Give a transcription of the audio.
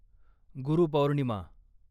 गुरू पौर्णिमा